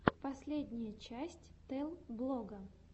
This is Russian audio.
последняя часть тэл блога